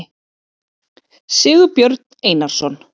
sigurbjörn einarsson